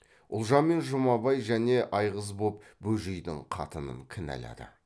ұлжан мен жұмабай және айғыз боп бөжейдің қатынын кінәлады